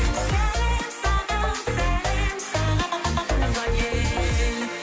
сәлем саған сәлем саған туған ел